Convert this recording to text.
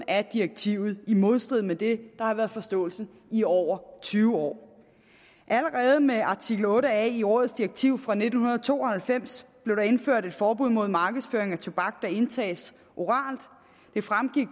af direktivet i modstrid med det har været forståelsen i over tyve år allerede med artikel otte a i rådets direktiv fra nitten to og halvfems blev der indført et forbud mod markedsføring af tobak der indtages oralt det fremgik